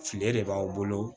File de b'aw bolo